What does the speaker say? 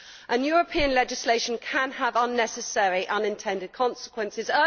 And European legislation can have unnecessary unintended consequences.